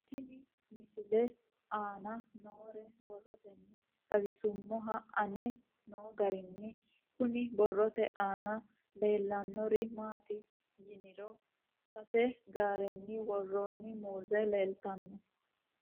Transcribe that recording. Tenne misile aana noore borroteni xawiseemohu aane noo gariniiti. Kunni borrote aana leelanori maati yiniro sase gaarerra woroinni muuze leeltanno.